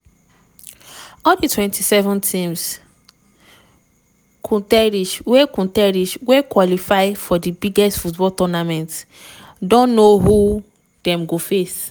all di 24 teams (kontris) wey (kontris) wey qualify for di biggest football tournament don know who dem go face.